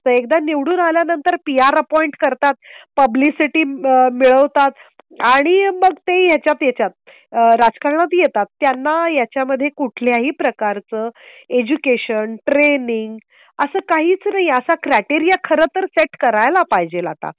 एकदा निवडून आल्यानंतर पीआर अपॉईंट करतात. पब्लिसिटी मिळवतात आणि मग ते याच्यात राजकारणात येतात. त्यांना याच्या मध्ये कुठल्याही प्रकारचं एजुकेशन ट्रेनिंग असं काहीच नाही. असा क्रायटेरिया खरं तर सेट करायला पाहिजेल आता.